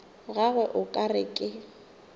gagwe o ka re ke